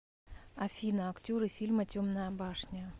афина актеры фильма темная башня